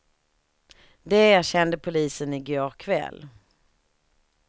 Det erkände polisen i går kväll.